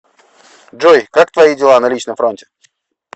джой как твои дела на личном фронте